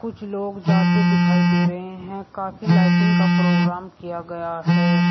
कुछ लोग जाते दिखाई दे रहे हैं काफी लाइटिंग का प्रोग्राम किया गया है।